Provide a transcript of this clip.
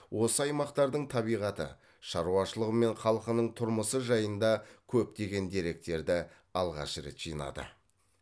осы аймақтардың табиғаты шаруашылығы мен халқының тұрмысы жайында көптеген деректерді алғаш рет жинады